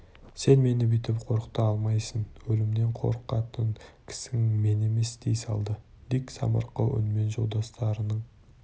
сен мені бүйтіп қорқыта алмайсың өлімнен қорқатын кісің мен емес дей салды дик самарқау үнмен жолдастарыңның